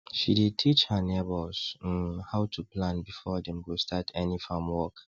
she dey teach her neighbors um how to plan before dem go start any farm work